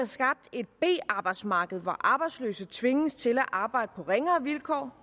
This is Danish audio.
skabt et b arbejdsmarked hvor arbejdsløse tvinges til at arbejde på ringere vilkår